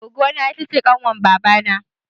Goggon ta ita ce kanwar baba na